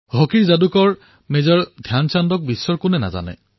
হকীৰ যাদুকৰ মেজৰ ধ্যানচাঁদৰ কথা সমগ্ৰ বিশ্বই জানে